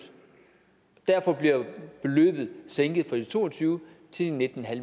derfor bliver beløbet sænket fra to og tyve til nitten